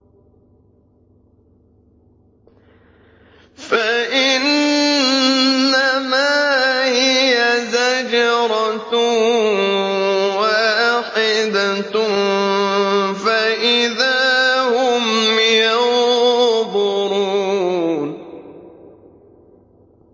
فَإِنَّمَا هِيَ زَجْرَةٌ وَاحِدَةٌ فَإِذَا هُمْ يَنظُرُونَ